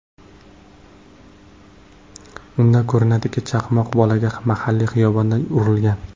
Unda ko‘rinadiki, chaqmoq bolaga mahalliy xiyobonda urilgan.